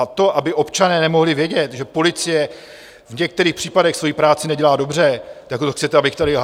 A to, aby občané nemohli vědět, že policie v některých případech svoji práci nedělá dobře, tak to chcete, abych tady lhal?